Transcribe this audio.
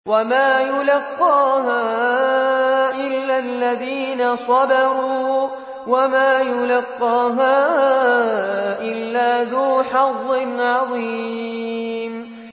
وَمَا يُلَقَّاهَا إِلَّا الَّذِينَ صَبَرُوا وَمَا يُلَقَّاهَا إِلَّا ذُو حَظٍّ عَظِيمٍ